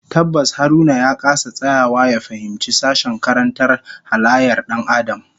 Tabbas Haruna ya kasa tsayawa ya fahimci sashen karantar halayyar Dan Adam